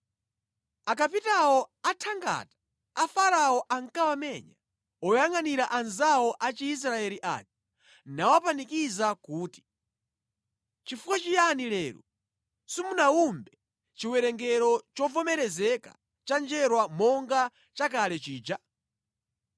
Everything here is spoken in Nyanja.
Akapitawo a thangata a Farao ankawamenya oyangʼanira anzawo a Chiisraeli aja nawapanikiza kuti, “Chifukwa chiyani lero simunawumbe chiwerengero chovomerezeka cha njerwa monga chakale chija?”